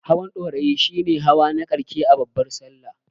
Hawan Ɗorayi shi ne hawa na ƙarshe a babbar Sallah.